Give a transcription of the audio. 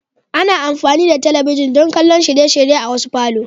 Ana amfani da talabijin don kallon shirye-shirye a wasu falo.